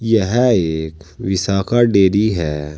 यह एक विशाखा डेयरी है।